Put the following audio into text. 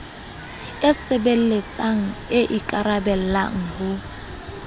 e sebeletsang e ikaraballang ho